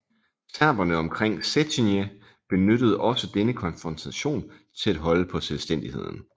Serberne omkring Cetinje benyttede også denne konfrontation til at holde på selvstændigheden